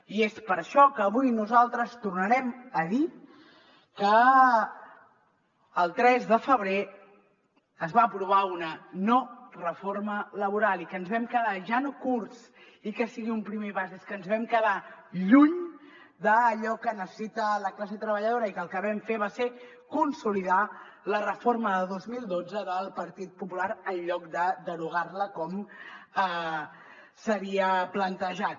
i és per això que avui nosaltres tornarem a dir que el tres de febrer es va aprovar una no reforma laboral i que ens vam quedar ja no curts i que sigui un primer pas és que ens vam quedar lluny d’allò que necessita la classe treballadora i que el que vam fer va ser consolidar la reforma de dos mil dotze del partit popular en lloc de derogar la com s’havia plantejat